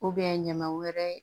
ɲama wɛrɛ